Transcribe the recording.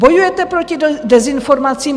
Bojujete proti dezinformacím.